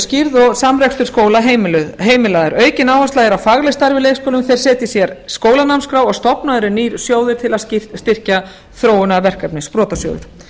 og samrekstur skóla heimilaður aukin áhersla er á faglegt starf í leikskólum þeir setji sér skólanámskrá og stofnaður er ný sjóður til að styrkja þróunarverkefni sprotasjóður